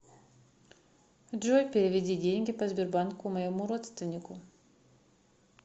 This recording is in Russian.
джой переведи деньги по сбербанку моему родственнику